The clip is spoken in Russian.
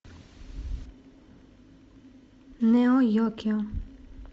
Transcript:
нео йокио